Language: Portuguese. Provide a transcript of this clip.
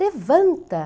Levanta.